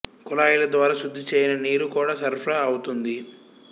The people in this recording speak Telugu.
కుళాయిల ద్వారా శుద్ధి చేయని నీరు కూడా సరఫరా అవుతోంది